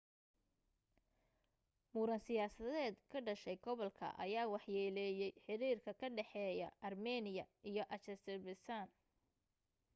muran siyaadeed ka dhashay gobolka ayaa waxyeeleeyay xiriirka ka dhexeeya armiiniya iyo azerbaijan